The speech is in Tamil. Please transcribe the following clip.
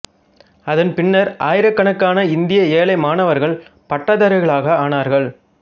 அதன் பின்னர் ஆயிரக் கணக்கான இந்திய ஏழை மாணவர்கள் பட்டதாரிகளானார்கள்